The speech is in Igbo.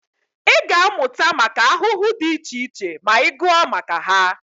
Ị ga-amụta maka ahụhụ dị iche iche ma ị gụọ maka ha